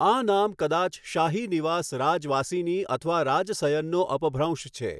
આ નામ કદાચ શાહી નિવાસ રાજવાસિની અથવા રાજસયનનો અપભ્રંશ છે.